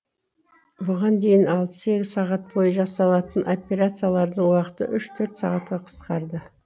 бұған дейін алты сегіз сағат бойы жасалатын операциялардың уақыты үш төрт сағатқа қысқарды